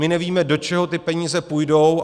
My nevíme, do čeho ty peníze půjdou.